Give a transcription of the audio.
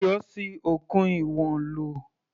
Ayọ̀ ṣi okùn ìwọ̀n lò.